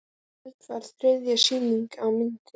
Í kvöld var þriðja sýning á myndinni